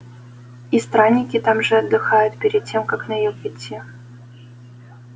и странники так же отдыхают перед тем как на юг идти